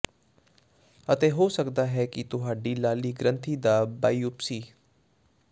ਅਤੇ ਹੋ ਸਕਦਾ ਹੈ ਕਿ ਤੁਹਾਡੀ ਲਾਲੀ ਗ੍ਰੰਥੀ ਦਾ ਬਾਇਓਪਸੀ